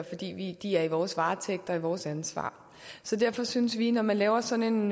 fordi de er i vores varetægt og er vores ansvar så derfor synes vi når man laver sådan